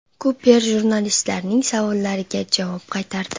Kuper jurnalistlarning savollariga javob qaytardi.